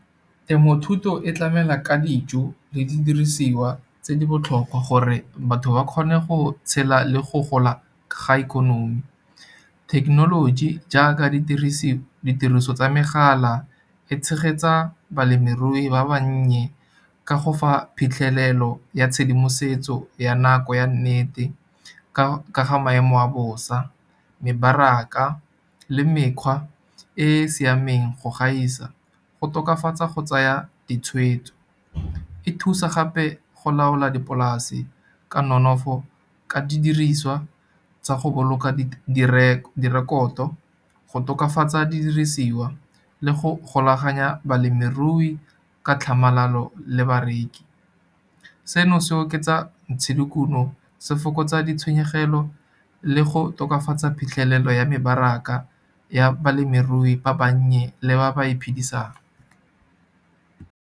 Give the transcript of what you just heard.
Temothuto e tlamela ka dijo le didirisiwa tse di botlhokwa, gore batho ba kgone go tshela le go gola ga ikonomi. Thekenoloji jaaka ditiriso tsa megala e tshegetsa balemirui ba bannye, ka go fa phitlhelelo ya tshedimosetso ya nako ya nnete ka ga maemo a bosa, mebaraka le mekgwa e e siameng go gaisa. Go tokafatsa go tsaya ditshwetso, e thusa gape go laola dipolase ka nonofo ka didiriswa tsa go boloka direkoto, go tokafatsa didirisiwa le go golaganya balemirui ka tlhamalalo le bareki. Seno se oketsa ntshodikuno, se fokotsa ditshenyegelo le go tokafatsa phitlhelelo ya mebaraka, ya balemirui ba bannye le ba ba iphidisang.